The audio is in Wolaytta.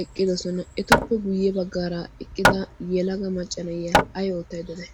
eqqidosona. Etuppe guyye baggaara eqqida yelaga macca na'iyaa ay oottayda de'ay?